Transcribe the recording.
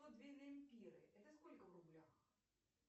сто две лемпиры это сколько в рублях